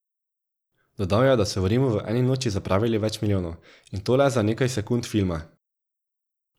Dodal je, da so v Rimu v eni noči zapravili več milijonov, in to le za nekaj sekund filma.